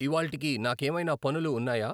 ఇవ్వాళ్టికి నాకేమైనా పనులు ఉన్నాయా?